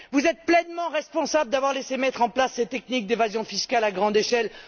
Vous êtes pleinement responsable d'avoir laissé mettre en place ces techniques d'évasion fiscale à grande échelle.